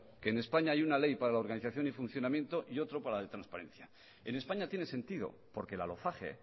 que españa hay una ley para la organización y funcionamiento y otro para la de transparencia en españa tiene sentido porque la lofage